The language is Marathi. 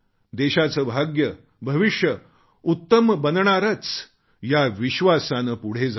देशाचे भाग्य भविष्य उत्तम बनणारच या विश्वासाने पुढे जाऊ या